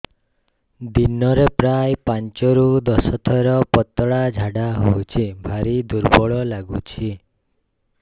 ଦିନରେ ପ୍ରାୟ ପାଞ୍ଚରୁ ଦଶ ଥର ପତଳା ଝାଡା ହଉଚି ଭାରି ଦୁର୍ବଳ ଲାଗୁଚି